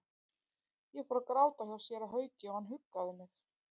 Ég fór að gráta hjá séra Hauki og hann huggaði mig.